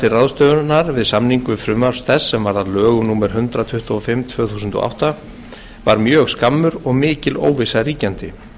ráðstöfunar við samningu frumvarps þess sem varð að lögum númer hundrað tuttugu og fimm tvö þúsund og átta var mjög skammur og mikil óvissa ríkjandi